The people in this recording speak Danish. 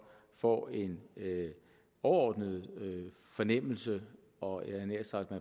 får en overordnet fornemmelse og jeg havde nær sagt